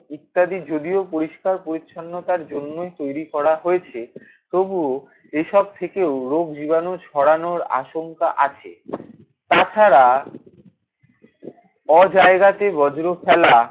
ইত্যাদি যদিও পরিষ্কার পরিছন্নতার জন্যই তৈরি করা হয়েছে তবুও এসব থেকেও রোগ জীবাণু ছড়ানোর আশঙ্কা আছে। তাছাড়া অজায়গাতে বজ্র ফেলা